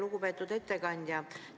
Lugupeetud ettekandja!